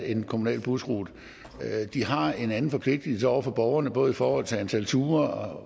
en kommunal busrute de har en anden forpligtigelse over for borgerne både i forhold til antal ture